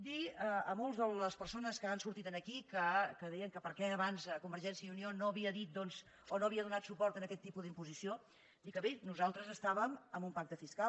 dir a moltes de les persones que han sortit aquí que deien que per què abans convergència i unió no havia dit doncs o no havia donat suport a aquest tipus d’imposició dir que bé nosaltres estàvem amb un pacte fiscal